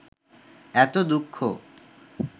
এত দুঃখ